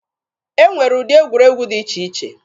E nwere ụdị egwuregwu dị iche iche.